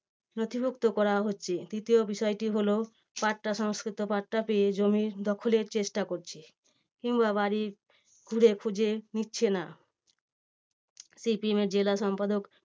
নথিভুক্ত করা হচ্ছে। তৃতীয় বিষয়টি হলো পাট্টা সংস্কৃত পাট্টা পেয়ে জমির দখলের চেষ্টা করছে কিংবা বাড়ির ঘুরে খুঁজে নিচ্ছে না। সি পি এমের জেলা সম্পাদক